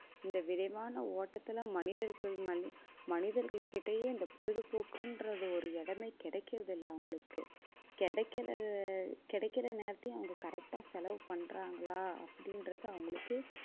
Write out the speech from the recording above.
இந்த விரைவான ஓட்டத்துல மனிதர்கள் மனிதர்கள்கிட்டயே இந்த பொழுதுபோக்குன்றது ஒரு இடமே கிடைக்கிறதில்லை அவங்களுக்கு கிடைக்கிற கிடைக்கிற நேரத்தையும் அவங்க correct ஆ செலவு பண்றாங்களா அப்படின்றது அவங்களுக்கு